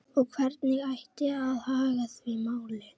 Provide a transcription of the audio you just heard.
Og hvernig ætti að haga því máli?